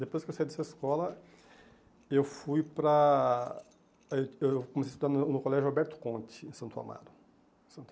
Depois que eu saí dessa escola, eu fui para... Aí Eu comecei a estudar no no colégio Alberto Conte, em Santo Amaro. Santo